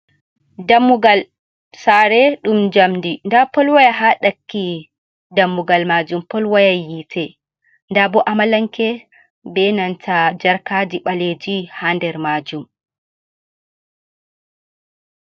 Dammugal Sare ɗum jamdi. nda Polwaya ha ɗakki Dammugal majum Polwaya yite. nda bo Amalanke be nanta Jarkaji ɓaleji ha nder Majum.